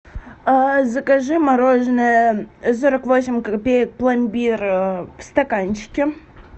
закажи мороженое сорок восемь копеек пломбир в стаканчике